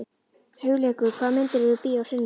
Hugleikur, hvaða myndir eru í bíó á sunnudaginn?